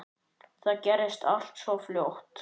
Það gerðist allt svo fljótt.